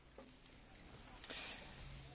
Thank you very much, Commissioner.